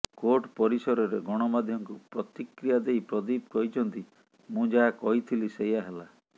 court ପରିସରରେ ଗଣମାଧ୍ୟମକୁ ପ୍ରତିକ୍ରିୟା ଦେଇ ପ୍ରଦୀପ କହିଛନ୍ତି ମୁଁ ଯାହା କହିଥିଲି ସେୟା ହେଲା